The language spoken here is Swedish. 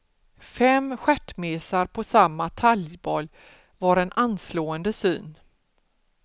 Fem stjärtmesar på samma talgboll var en anslående syn.